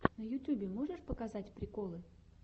на ютьюбе можешь показать приколы